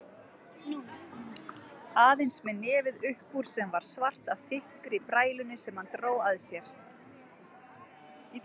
Aðeins með nefið uppúr sem var svart af þykkri brælunni sem hann dró að sér.